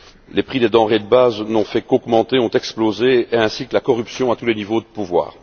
Les prix des denrées de base n'ont fait qu'augmenter, ont explosé, de même que la corruption à tous les niveaux de pouvoir.